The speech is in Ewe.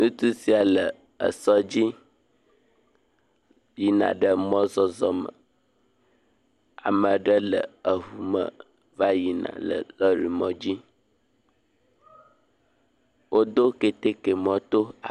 Ŋutsu sia le esɔdzi yina ɖe mɔzɔzɔ me. Ame ɖe le eŋume va yina le lɔri mɔdzi. Wodo keteke mɔto.